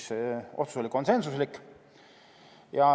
See otsus oli konsensuslik.